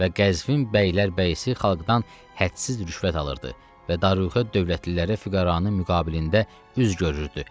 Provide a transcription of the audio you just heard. Və Qəzvin bəylər bəyisi xalqdan hədsiz rüşvət alırdı və Daruğə dövlətlilərə füqəranın müqabilində üz görürdü.